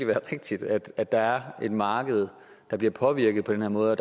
være rigtigt at der er et marked der bliver påvirket på den her måde